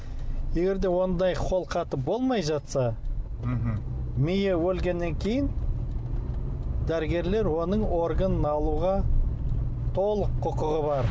егер де ондай қолхаты болмай жатса мхм миы өлгеннен кейін дәрігерлер оның органын алуға толық құқығы бар